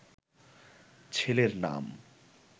ছেলের নাম